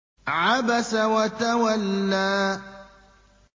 عَبَسَ وَتَوَلَّىٰ